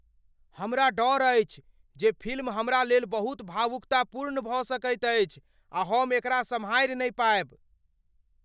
हमरा डर अछि जे फिल्म हमरा लेल बहुत भावुकतापूर्ण भऽ सकैत अछि आ हम एकरा सम्हारि नहि पाएब।